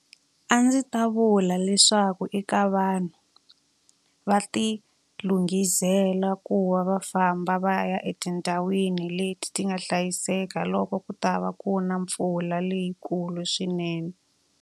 A ndzi ta vula leswaku eka vanhu, va ti lunghisela ku va va famba va ya etindhawini leti ti nga hlayiseka loko ku ta va ku na mpfula leyikulu swinene.